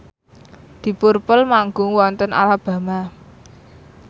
deep purple manggung wonten Alabama